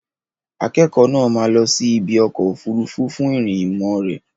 Akẹ́kọ̀ọ́ náà máa lọ sí ibi ọkọ̀ òfuurufú fún ìrìn ìmọ̀ rẹ̀.